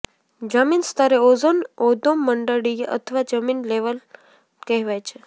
જમીન સ્તરે ઓઝોન અધોમંડળીય અથવા જમીન લેવલ કહેવાય છે